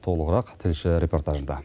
толығырақ тілші репортажында